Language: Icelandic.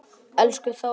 Elsku Þórey.